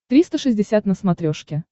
триста шестьдесят на смотрешке